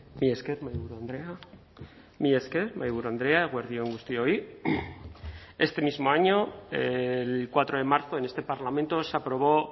mila esker mahaiburu andrea mila esker mahaiburu andrea eguerdi on guztioi este mismo año el cuatro de marzo en este parlamento se aprobó